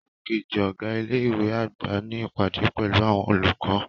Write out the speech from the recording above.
Igbakeji ọga ile-iwe agba n ni ipade pẹlu awọn olukọ.